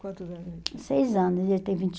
Quantos anos ele tinha? Seis anos, ele tem vinte